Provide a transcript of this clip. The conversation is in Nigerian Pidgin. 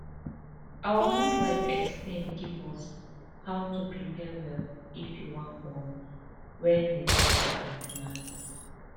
our midwife explain give us how to prepare well if you wan born wen we go for an ten atal